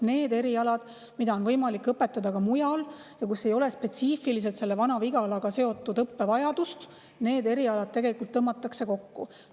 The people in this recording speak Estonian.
Need erialad, mida on võimalik õpetada ka mujal, sest ei ole spetsiifiliselt Vana-Vigalaga seotud õppevajadust, tõmmatakse kokku.